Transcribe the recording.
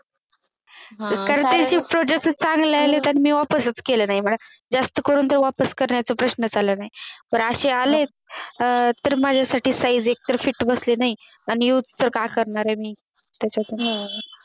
Continueous product चांगले आले तर मी वापसीच केले नाही म्हण जास्त करून वापस करण्याचा प्रश्नच आला नाही पण अशे आले कि अं तर माझ्यासाठी Size एकत्र Fit बसली नाही आणि Use तर काय करणार मी त्याच्यातून हम्म